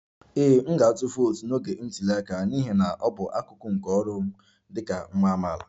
Ee, m ga-atụ vootu n'oge ntuli aka n'ihi na ọ bụ akụkụ nke ọrụ m dị ka nwa amaala